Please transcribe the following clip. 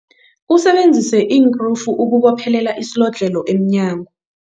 Usebenzise iinkrufu ukubophelela isilodlhelo emnyango.